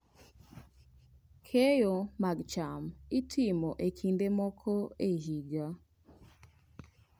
Keyo mag cham itimo e kinde moko e higa.